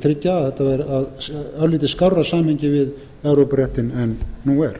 minnsta kosti tryggja örlítið skárra samhengi við evrópuréttinn en nú er